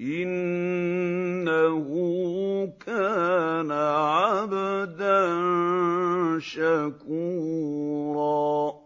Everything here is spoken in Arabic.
إِنَّهُ كَانَ عَبْدًا شَكُورًا